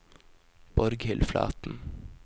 Borghild Flaten